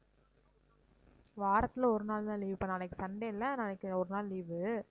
வாரத்தில ஒரு நாள் தான் leave இப்ப நாளைக்கு sunday இல்ல நாளைக்கு ஒரு நாள் leave உ